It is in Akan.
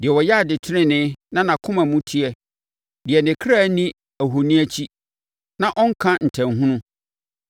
Deɛ ɔyɛ ade tenenee na nʼakoma mu teɛ, deɛ ne kra nni ahoni akyi na ɔnnka ntanhunu.